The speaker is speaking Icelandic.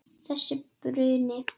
Þessi bruni.